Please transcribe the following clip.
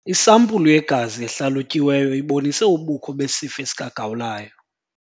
Isampulu yegazi ehlalutyiweyo ibonise ubukho besifo sikagawulayo.